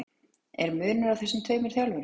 Er munur á þessum tveimur þjálfurum?